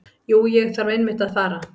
Jú, ég þarf einmitt að fara.